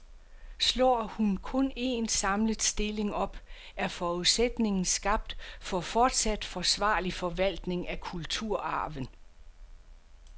Slår hun kun en, samlet stilling op, er forudsætningen skabt for fortsat forsvarlig forvaltning af kulturarven.